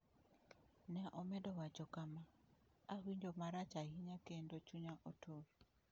Ne omedo wacho kama: “Awinjo marach ahinya kendo chunya otur.”